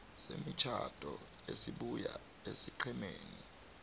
semitjhado esibuya esiqhemeni